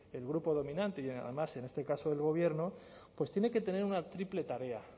el grupo dominante y además en este caso el gobierno pues tiene que tener una triple tarea